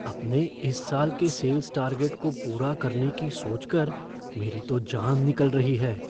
अपने इस साल के सेल्स टारगेट को पूरा करने की सोचकर मेरी तो जान निकल रही है।